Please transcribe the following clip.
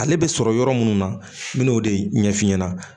Ale bɛ sɔrɔ yɔrɔ minnu na n bɛ n'o de ɲɛf'i ɲɛna